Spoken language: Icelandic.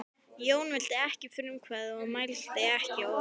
Jón vildi ekki eiga frumkvæði og mælti ekki orð.